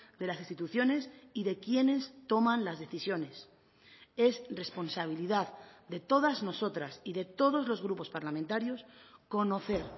de las instituciones y de quienes toman las decisiones es responsabilidad de todas nosotras y de todos los grupos parlamentarios conocer